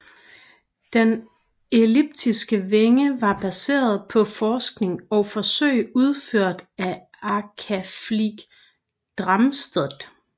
Den elliptiske vinge var baseret på forskning og forsøg udført af Akaflieg Darmstadt